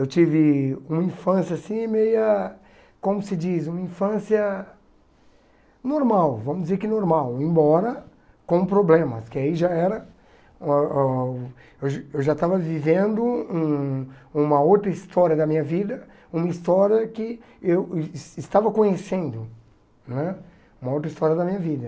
Eu tive uma infância assim meia, como se diz, uma infância normal, vamos dizer que normal, embora com problemas, que aí já era um ah, eu já eu já estava vivendo hum uma outra história da minha vida, uma história que eu estava conhecendo né, uma outra história da minha vida.